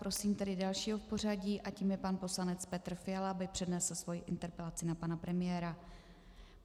Prosím tedy dalšího v pořadí, a tím je pan poslanec Petr Fiala, aby přednesl svou interpelací na pana premiéra.